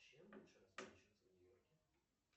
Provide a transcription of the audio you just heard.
чем лучше расплачиваться в нью йорке